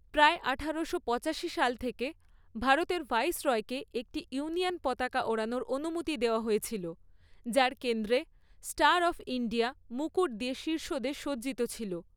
প্রায় আঠারো পঁচাশি সাল থেকে, ভারতের ভাইসরয়কে একটি ইউনিয়ন পতাকা ওড়ানোর অনুমতি দেওয়া হয়েছিল যার কেন্দ্রে 'স্টার অফ ইন্ডিয়া' মুকুট দিয়ে শীর্ষদেশে সজ্জিত ছিল।